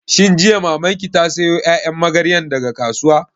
Shin jiya Maman ki ta sayo ƴaƴan magaryan daga kasuwa?